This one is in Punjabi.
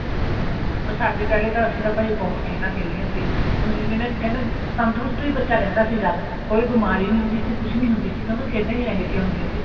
ਹਾਂ ਪਰ ਸਾਡੇ ਪਹਿਲਾ ਅਸੀਂ ਤਾਂ ਭਾਈ ਬਹੁਤ ਖੇਲਾਂ ਖੇਲਿਆਂ ਸੀ ਹੁਣ ਕਹਿੰਦੇ ਤੰਦਰੁਸਤ ਵੀ ਬੱਚਾ ਰਹਿੰਦਾ ਸੀ ਜਿਆਦਾ ਕੋਈ ਬਿਮਾਰੀ ਨਹੀਂ ਹੁੰਦੀ ਸੀ ਕੁੱਛ ਨਹੀਂ ਹੁੰਦੀ ਸੀ ਕਿਉਂਕਿ ਖੇਡਾਂ ਹੀ ਅਹਿਜਿਆ ਹੁੰਦਿਆ ਸੀ